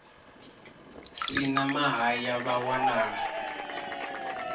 si na mahaya vha wanala